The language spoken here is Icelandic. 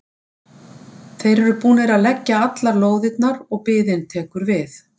Þeir eru búnir að leggja allar lóðirnar og biðin tekur við.